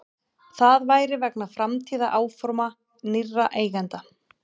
Það væri vegna framtíðaráforma nýrra eigenda